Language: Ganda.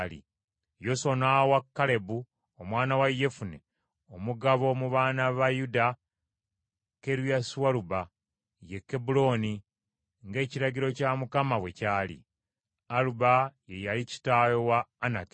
Yoswa n’awa Kalebu omwana wa Yefune omugabo mu baana ba Yuda Kiriasualuba, ye Kebbulooni, ng’ekiragiro kya Mukama bwe kyali. Aluba ye yali kitaawe wa Anaki.